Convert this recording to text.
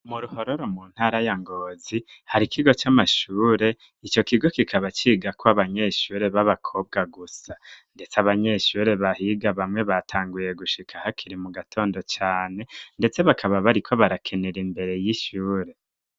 Muruhororo mu ntara ya ngozi hari ikigo c'amashure ico kigo kikaba cigako abanyeshure b'abakobwa gusa, ndetse abanyeshure bahiga bamwe batanguye gushika ahakiri mu gatondo cane, ndetse bakaba bariko barakenera imbere y'ishure.